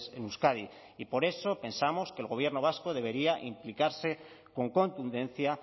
en euskadi y por eso pensamos que el gobierno vasco debería implicar con contundencia